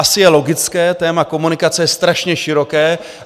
Asi je logické, téma komunikace je strašně široké.